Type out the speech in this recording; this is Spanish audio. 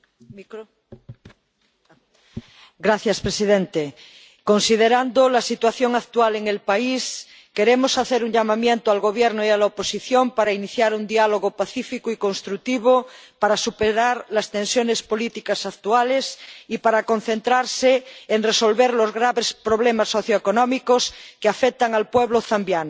Señor presidente, considerando la situación actual en el país queremos hacer un llamamiento al Gobierno y a la oposición para iniciar un diálogo pacífico y constructivo para superar las tensiones políticas actuales y para concentrarse en resolver los graves problemas socioeconómicos que afectan al pueblo zambiano.